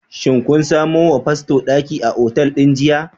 Shin kun samo wa fasto daki a otal din jiya?